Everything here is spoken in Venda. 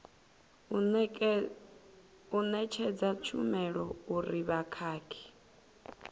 u ṋetshedza tshumelo uri vhukhakhi